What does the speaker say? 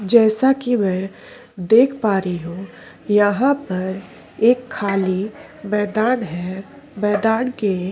जैसा कि मैं देख पा री हूं यहाँ पर एक खाली मैदान है मैदान के--